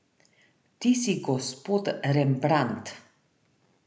Ti si gospod Rembrandt.